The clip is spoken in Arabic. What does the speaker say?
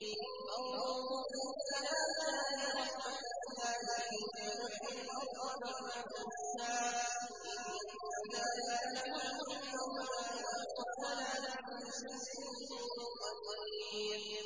فَانظُرْ إِلَىٰ آثَارِ رَحْمَتِ اللَّهِ كَيْفَ يُحْيِي الْأَرْضَ بَعْدَ مَوْتِهَا ۚ إِنَّ ذَٰلِكَ لَمُحْيِي الْمَوْتَىٰ ۖ وَهُوَ عَلَىٰ كُلِّ شَيْءٍ قَدِيرٌ